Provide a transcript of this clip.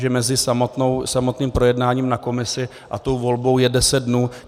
Takže mezi samotným projednáním na komisi a tou volbou je deset dnů.